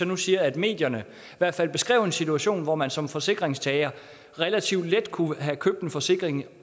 jeg sige at medierne beskrev en situation hvor man som forsikringstager relativt let kunne have købt en forsikring